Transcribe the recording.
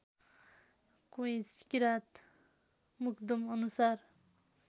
Koinch Kirant मुग्दुमअनुसार